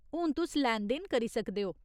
हून तुस लैन देन करी सकदे ओ।